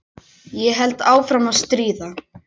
Ég held áfram að stríða.